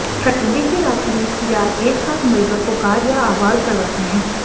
ठंडी की रातों में सियार एक साथ मिलकर पुकार या आवाज़ लगाते हैं